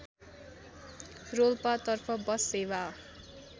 रोल्पातर्फ bus सेवा